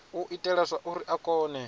u itela zwauri a kone